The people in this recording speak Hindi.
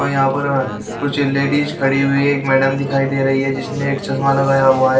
यहां पर -- कुछ लेडीज खड़ी हुई है एक मैडम दिखाई दे रही है जिसने एक चश्मा लगाया हुआ है।